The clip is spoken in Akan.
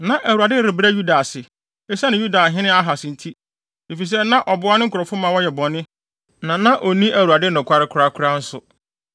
Na Awurade rebrɛ Yuda ase, esiane Yudahene Ahas nti, efisɛ na ɔboa ne nkurɔfo ma wɔyɛ bɔne, na na onni Awurade nokware korakora nso.